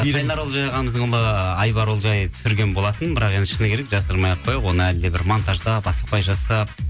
айбар ұлжай түсірген болатын бірақ енді шыны керек жасырмай ақ қояйық оны әлі де бір монтаждап асықпай жасап